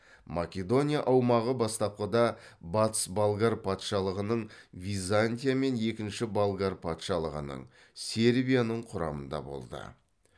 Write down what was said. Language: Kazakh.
македония аумағы бастапқыда батыс болгар патшалығының византия мен екінші болгар патшалығының сербияның құрамында болды